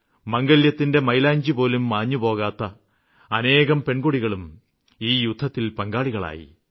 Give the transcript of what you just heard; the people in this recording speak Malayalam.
മാംഗല്യത്തിന്റെ മൈലാഞ്ചിപോലും മാഞ്ഞുപോകാത്ത അനേകം പെണ്കൊടികളും ഈ യുദ്ധത്തില് പങ്കാളികളായി